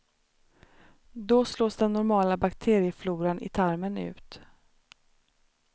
Då slås den normala bakteriefloran i tarmen ut.